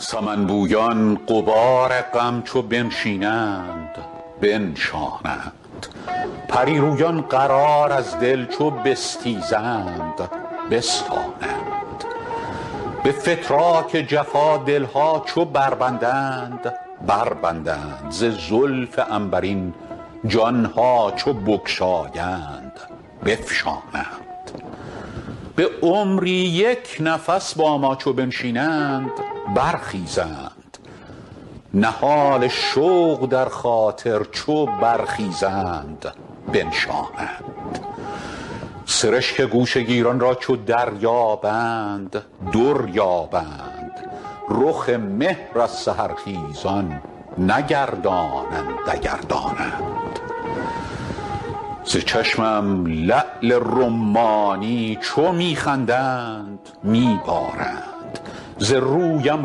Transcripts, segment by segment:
سمن بویان غبار غم چو بنشینند بنشانند پری رویان قرار از دل چو بستیزند بستانند به فتراک جفا دل ها چو بربندند بربندند ز زلف عنبرین جان ها چو بگشایند بفشانند به عمری یک نفس با ما چو بنشینند برخیزند نهال شوق در خاطر چو برخیزند بنشانند سرشک گوشه گیران را چو دریابند در یابند رخ مهر از سحرخیزان نگردانند اگر دانند ز چشمم لعل رمانی چو می خندند می بارند ز رویم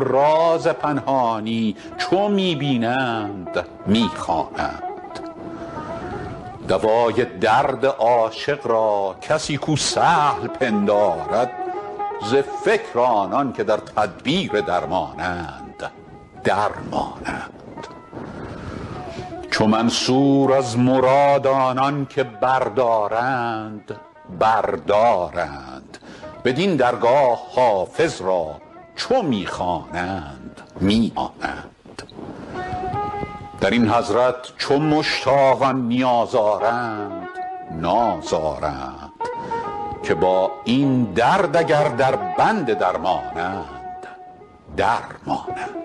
راز پنهانی چو می بینند می خوانند دوای درد عاشق را کسی کو سهل پندارد ز فکر آنان که در تدبیر درمانند در مانند چو منصور از مراد آنان که بردارند بر دارند بدین درگاه حافظ را چو می خوانند می رانند در این حضرت چو مشتاقان نیاز آرند ناز آرند که با این درد اگر دربند درمانند در مانند